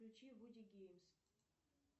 включи вуди геймс